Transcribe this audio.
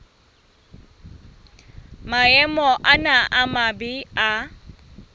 maemo ana a mabe a